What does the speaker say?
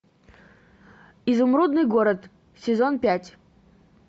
изумрудный город сезон пять